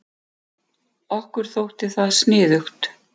Okkur þótti það sniðugt.